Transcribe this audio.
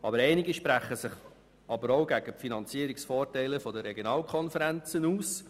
Aber einige sprechen sich auch gegen die Finanzierungsvorteile der Regionalkonferenzen aus.